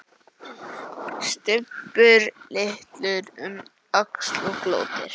Stubbur lítur um öxl og glottir.